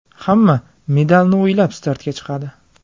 Hamma medalni o‘ylab startga chiqadi.